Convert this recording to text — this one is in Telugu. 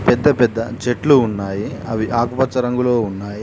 పెద్ద పెద్ద చెట్లు ఉన్నాయి. అవి ఆకుపచ్చ రంగులో ఉన్నాయి.